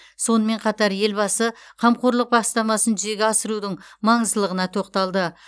сонымен қатар елбасы қамқорлық бастамасын жүзеге асырудың маңыздылығына тоқталды